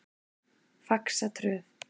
Faxatröð